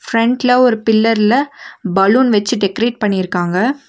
ஃபிரண்ட்ல ஒரு பில்லர்ல பலூன் வெச்சு டெக்கரேட் பண்ணிருக்காங்க.